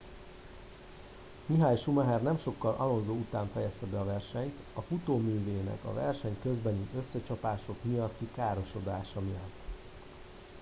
michael schumacher nem sokkal alonso után fejezte be a versenyt a futóművének a verseny közbeni összecsapások miatti károsodásai miatt